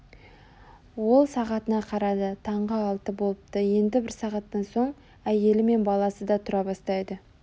ол сағатына қарады таңғы алты болыпты енді бір сағаттан соң әйелі мен баласы да тұра бастайды